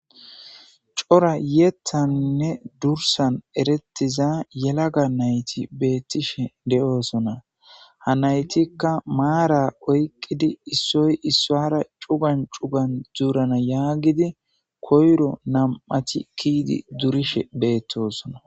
cora yeethannne dursan erettiza yelaga nayti beettishe de7oosona ha naytikka maara oyqqidi issoy issoara cugan cugan dzuurana yaagidi koyro nam7ati kiidi durishe beettosona